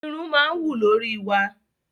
Irun máa ń wù lórí wa.